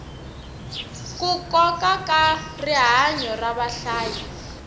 ku koka rinoko ra vahlayi